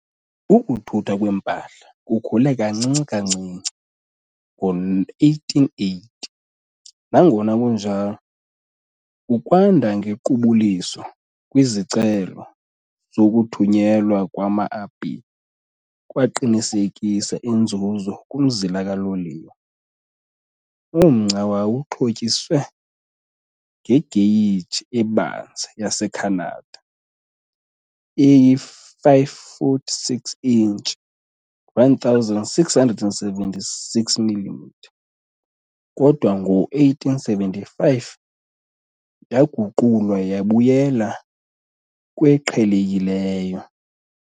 Ukuthuthwa kwempahla kukhule kancinci kancinci ngo-1880, nangona kunjalo, ukwanda ngequbuliso kwezicelo zokuthunyelwa kwama-apile kwaqinisekisa inzuzo kumzila kaloliwe. Umgca wawuxhotyiswe ngegeyiji ebanzi yaseKhanada eyi-5 foot 6 inch, 1676 millimetre kodwa ngo-1875 yaguqulwa yabuyela kweqhelekileyo.